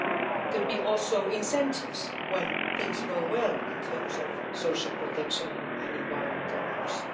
It could also be incentives when things go well in terms of social protection and environmental norms.